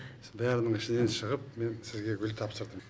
бәрінің ішінен шығып мен сізге гүл тапсырдым